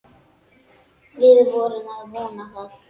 Við erum að vona það.